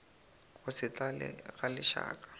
go se tlale ga lešaka